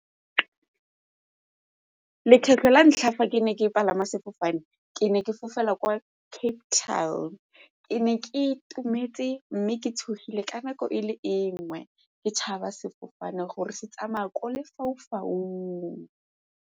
Lekgetlho la ntlha fa ke ne ke palama sefofane ke ne ke fofela kwa Cape Town, ke ne ke itumetse mme ke tshogile ka nako e le e nngwe ke tšhaba sefofane gore se tsamaya kwa lefaufaung.